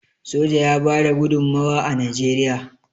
soja ya bada gudummawa a najeriya